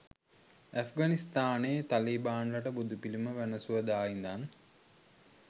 ඇෆ්ගනිස්තානෙ තලිබාන්ලට බුදුපිලිම වැනසුව දා ඉඳන්